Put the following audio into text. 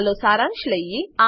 ચાલો સારાંશ લઈએ